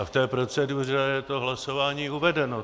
A v té proceduře je to hlasování uvedeno.